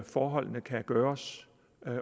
forholdene kan gøres